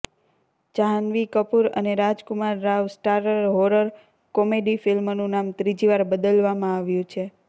જાન્હવી કપૂર અને Rajkummar Rao starrer horror comedy ફિલ્મનું નામ ત્રીજીવાર બદલવામાં આવ્યું છે